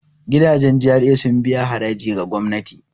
Gidajen GRA sun biya haraji ga gwamnati.